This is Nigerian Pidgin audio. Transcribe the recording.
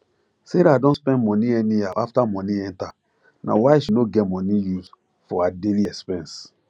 sarah don spend money anyhow after money enter nah why she no get money use for her daily expense